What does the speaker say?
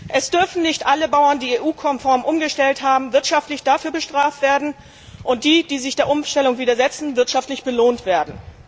Es dürfen nicht alle Bauern, die EU konform umgestellt haben, wirtschaftlich bestraft und die, die sich der Umstellung widersetzen, wirtschaftlich belohnt werden.